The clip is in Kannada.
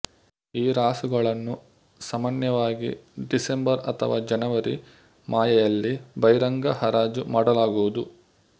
ಈ ರಾಸುಗಳನ್ನು ಸಮಾನ್ಯವಾಗಿ ಡಿಸೆಂಬರ್ ಅಥಾವ ಜನವರಿ ಮಾಹೆಯಲ್ಲಿ ಬಹಿರಂಗ ಹರಾಜುಮಾಡಲಾಗುವುದು